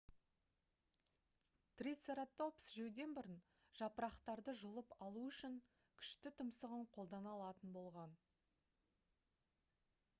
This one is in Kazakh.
трицератопс жеуден бұрын жапырақтарды жұлып алу үшін күшті тұмсығын қолдана алатын болған